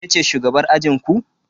Ke ce shugabar ajinku?